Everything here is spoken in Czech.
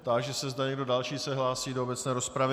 Táži se, zda někdo další se hlásí do obecné rozpravy.